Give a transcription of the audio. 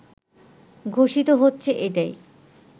ঘোষিত হচ্ছে এটাই